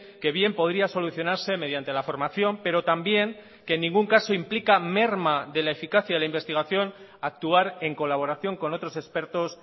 que bien podría solucionarse mediante la formación pero también que en ningún caso implica merma de la eficacia de la investigación actuar en colaboración con otros expertos